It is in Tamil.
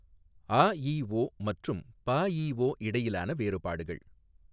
ஆஇஒ மற்றும் பஇஒ இடையிலான வேறுபாடுகள்.